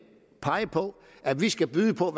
pege på at vi skal byde på